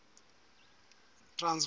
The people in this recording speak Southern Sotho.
transvala